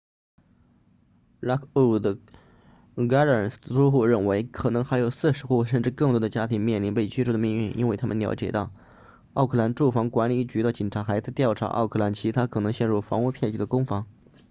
lockwood gardens 的租户认为可能还有40户甚至更多的家庭面临被驱逐的命运因为他们了解到奥克兰住房管理局的警察还在调查奥克兰其他可能陷入房屋骗局的公房